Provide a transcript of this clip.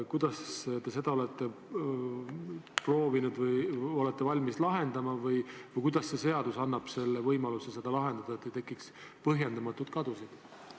Kuidas te olete proovinud või olete valmis seda lahendama või kuidas see seadus annab võimaluse seda lahendada, et ei tekiks põhjendamatuid kadusid?